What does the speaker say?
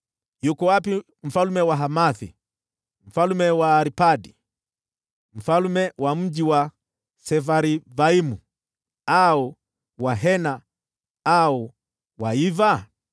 Yuko wapi mfalme wa Hamathi, mfalme wa Arpadi, mfalme wa mji wa Sefarvaimu, au wa Hena au wa Iva?”